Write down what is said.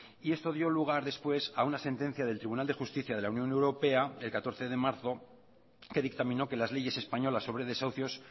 y esto dio lugar después a una sentencia del tribunal de justicia de la unión europea el catorce de marzo que dictaminó que las leyes españolas sobre desahucios